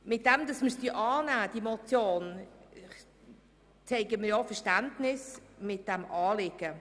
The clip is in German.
Indem wir die Motion annehmen, zeigen wir ja auch Verständnis für das Anliegen.